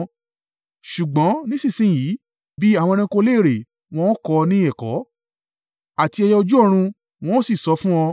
“Ṣùgbọ́n nísinsin yìí bí àwọn ẹranko léèrè, wọn o kọ́ ọ ní ẹ̀kọ́, àti ẹyẹ ojú ọ̀run, wọn ó sì sọ fún ọ.